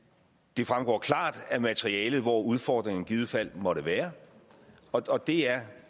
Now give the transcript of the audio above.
det fremgår klart af materialet hvor udfordringerne i givet fald måtte være og det er